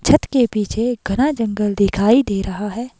छत के पीछे घना जंगल दिखाई दे रहा है।